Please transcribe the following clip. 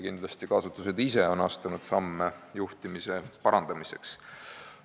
Kindlasti on ka asutused ise astunud samme juhtimise parandamiseks.